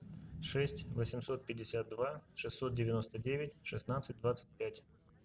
шесть восемьсот пятьдесят два шестьсот девяносто девять шестнадцать двадцать пять